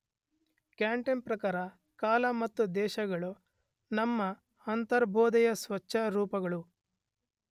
ಕ್ಯಾಂಟನ ಪ್ರಕಾರ ಕಾಲ ಮತ್ತು ದೇಶಗಳು ನಮ್ಮ ಅಂತರ್ಬೋಧೆಯ ಸ್ವಚ್ಛ ರೂಪಗಳು.